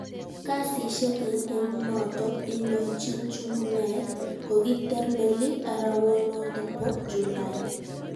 Kasishek eng emonotok indochin Chumneek kokiter meliit arawanotok po. Julai